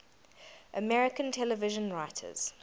american television writers